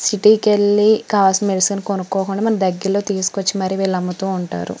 City కి వెళ్లి మనకు కావలిస్ని అని మెడిసిన్ కొనుకోకుండా మనకి దగ్గర్లోకి తీసుకొచ్చి మనకి కావాల్సినవి అమ్ముతు ఉంటారు .